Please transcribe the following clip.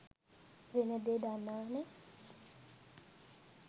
වෙන දේ දන්නවනෙ.